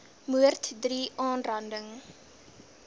moord iii aanranding